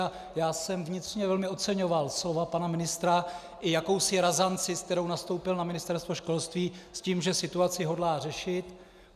A já jsem vnitřně velmi oceňoval slova pana ministra i jakousi razanci, s kterou nastoupil na Ministerstvo školství s tím, že situaci hodlá řešit.